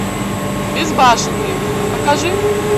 безбашенные покажи